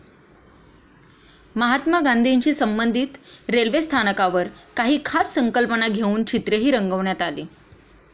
महात्मा गांधीशी संबंधित रेल्वे स्थानकांवर काही खास संकल्पना घेऊन चित्रेही रंगवण्यात आली.